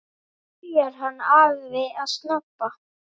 Byrjar hann afi að snobba!